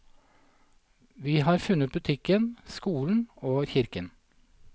Vi har funnet butikken, skolen og kirken.